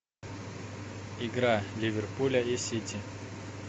игра ливерпуля и сити